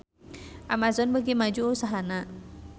Amazon beuki maju usahana